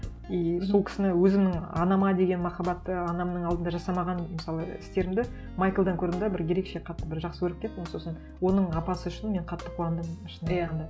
и сол кісіні өзімнің анама деген махабатты анамның алдында жасамаған мысалы істерімді майклдан көрдім де бір ерекше қатты бір жақсы көріп кеттім сосын оның апасы үшін мен қатты қуандым шынын айтқанда